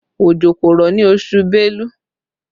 Òjò kò rọ̀ ní oṣù belú